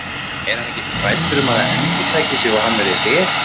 Er hann ekkert hræddur um að það endurtaki sig og hann verði rekinn?